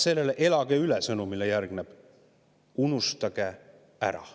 Sõnumile "Elage üle!" järgneb "Unustage ära!".